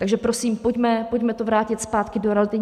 Takže prosím, pojďme to vrátit zpátky do reality.